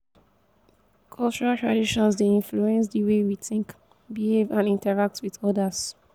cultural traditions dey influence di way we think behave and interact with odas.